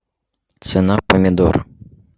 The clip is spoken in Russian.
цена помидор